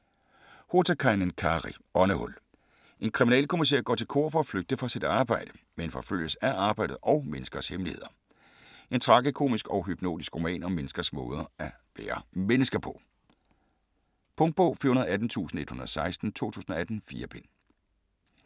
Hotakainen, Kari: Åndehul En kriminalkommisær går til kor for at flygte fra sit arbejde, men forfølges af arbejdet og menneskers hemmeligheder. En tragikomisk og hypnotisk roman om menneskers måde at være mennesker på. Punktbog 418116 2018. 4 bind.